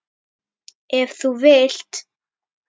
Ef þú vilt.